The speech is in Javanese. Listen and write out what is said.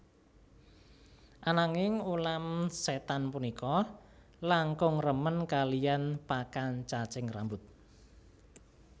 Ananging ulam sétan punika langkung remen kaliyan pakan cacing rambut